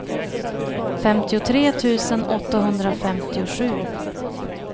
femtiotre tusen åttahundrafemtiosju